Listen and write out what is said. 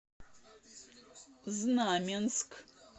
знаменск